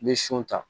I bɛ son ta